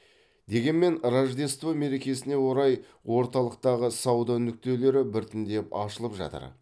дегемен рождество мерекесіне орай орталықтағы сауда нүктелері біртіндеп ашылып жатыр